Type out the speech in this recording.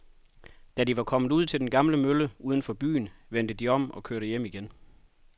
Da de var kommet ud til den gamle mølle uden for byen, vendte de om og kørte hjem igen.